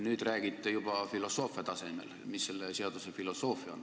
Nüüd räägite juba filosoofia tasemelt, et mis selle seaduse filosoofia on.